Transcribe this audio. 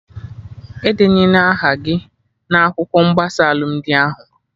Edenyena aha gị na akwụkwọ mgbasa alụmdi ahụ!